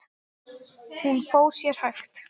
Lilla var orðin æst.